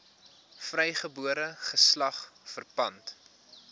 vrygebore geslag verpand